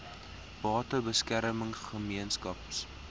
bate beskerming gemeenskaps